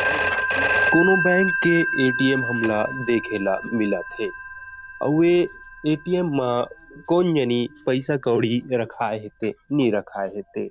अउ कोनो बैंक के ए_टी_एम हम ला देखे ला मिलत थे अउ ए ए_टी_एम मा कोन जनि पैसा कोड़ी ते रखाये नी रखाये ते।